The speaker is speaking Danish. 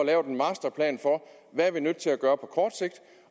hvad vi er nødt til at gøre på kort sigt